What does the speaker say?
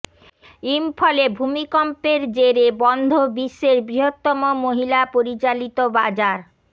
ইম্ফলে ভূমিকম্পের জেরে বন্ধ বিশ্বের বৃহত্তম মহিলা পরিচালিত বাজার